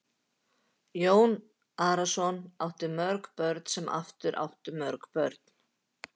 Og Jón Arason átti mörg börn sem aftur áttu mörg börn.